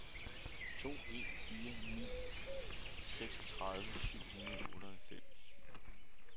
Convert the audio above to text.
to en fire ni seksogtredive syv hundrede og otteoghalvfems